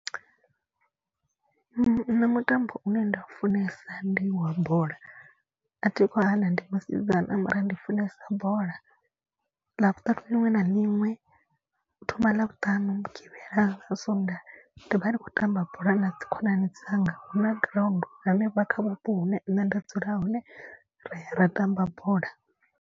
Nṋe mutambo une nda u funesa ndi wa bola a thi khou hana ndi musidzana mara ndi funesa bola. Ḽavhuṱanu liṅwe na liṅwe u thoma ḽavhutanu, mugivhela na sondaha ri vha ri khou tamba bola na dzi khonani dzanga. Huna ground hanefha kha vhupo hune nṋe nda dzula hone ra ya ra tamba bola.